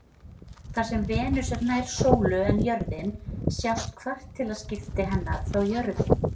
Þar sem Venus er nær sólu en jörðin sjást kvartilaskipti hennar frá jörðu.